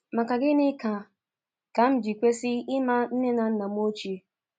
Maka Gịnị Ka Ka M Ji Kwesị Ịma Nne na Nna M Ochie?